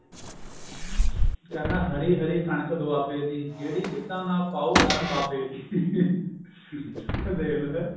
ਕਹਿੰਦਾ ਹਰੀ ਹਰੀ ਕਣਕ ਦੁਆਬੇ ਦੀ ਜਿਹੜੀ ਗਿੱਧਾ ਨਾ ਪਾਉ ਰੰਨ ਬਾਬੇ ਦੀ ਦੇਖਲੋ ਹੈਂ